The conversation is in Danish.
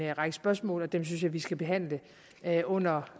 række spørgsmål og dem synes jeg vi skal behandle under